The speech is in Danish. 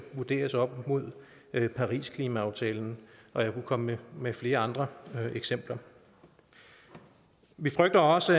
vurderes op mod parisklimaaftalen og jeg kunne komme med flere andre eksempler vi frygter også